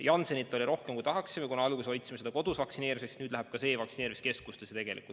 Janssenit oli rohkem, kui tahaksime, kuna alguses hoidsime seda kodus vaktsineerimiseks, nüüd läheb ka see vaktsineerimiskeskustesse.